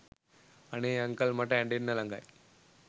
අනේ අංකල් මට ඇඬෙන්න ලඟයි